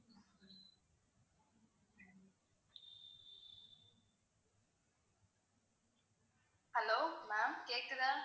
hello ma'am கேக்குதா?